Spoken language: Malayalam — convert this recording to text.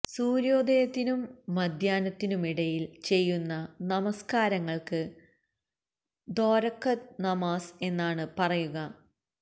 സൂര്യോദയത്തിനും മദ്ധ്യാഹ്നത്തിനുമിടയില് ചെയ്യുന്ന നമസ്ക്കാരങ്ങള്ക്ക് ദോരക്കത് നമാസ് എന്നാണ് പറയുക